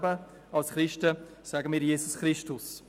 Als Christen sprechen wir von Jesus Christus.